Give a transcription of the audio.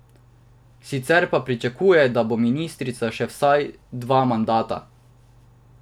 Sicer pa pričakuje, da bo ministrica še vsaj dva mandata.